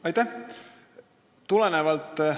Aitäh!